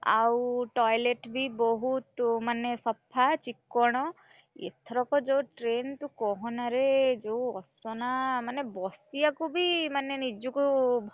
ଆଉ toilet ବି ବହୁତ, ମାନେ ସଫା, ଚି କ୍କଣ, ଏଥରକ ଯୋଉ train ତୁ, କହନାଁରେ ଯୋଉ ଅସନା, ମାନେ ବସି, ଆକୁ ବି ମାନେ,